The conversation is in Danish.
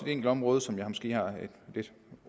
enkelt område som jeg måske